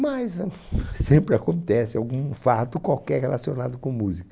Mas ahn, sempre acontece algum fato qualquer relacionado com música.